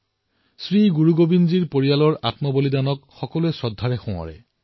জনতাই শ্ৰী গুৰু গোৱিন্দ সিংজীৰ পৰিয়ালৰ লোকে শ্বহীদ হোৱাৰ দিনটো অতিশয় আস্থাৰে সোঁৱৰে